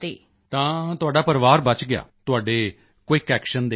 ਤਾਂ ਤੁਹਾਡਾ ਪਰਿਵਾਰ ਬਚ ਗਿਆ ਤੁਹਾਡੇ ਕੁਇਕ ਐਕਸ਼ਨ ਦੇ ਕਾਰਣ